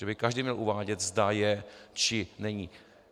Že by každý měl uvádět, zda je, či není.